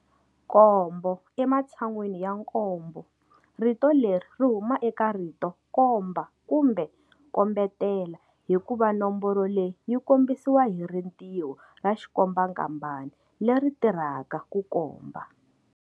Kombo ematshan'wini ya nkombo rito leri ri huma eka rito komba kumbe kombetela hikuva nomboro leyi yi kombisiwa hi ritiho ra xikombankambani leri tirhaka ku komba.